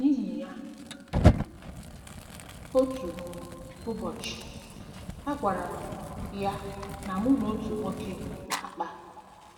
N’ihi ya, um otu um ụbọchị, agwara m um ya na mụ na otu nwoke na-akpa.